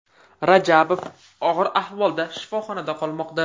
Rajabov og‘ir ahvolda shifoxonada qolmoqda.